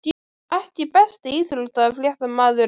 EKKI besti íþróttafréttamaðurinn?